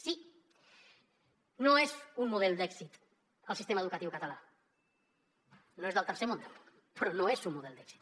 sí no és un model d’èxit el sistema educatiu català no és del tercer món però no és un model d’èxit